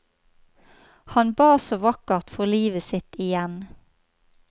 Han ba så vakkert for livet sitt igjen.